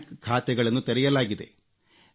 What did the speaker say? bank ಖಾತೆಗಳನ್ನು ತೆರೆಯಲಾಗಿದೆ